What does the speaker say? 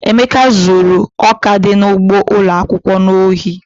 Emeka zuru ọka dị n'ugbo ụlọ akwụkwọ n'ohi.